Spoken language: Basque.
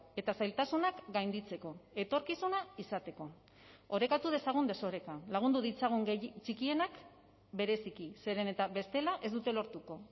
eta zailtasunak gainditzeko etorkizuna izateko orekatu dezagun desoreka lagundu ditzagun txikienak bereziki zeren eta bestela ez dute lortuko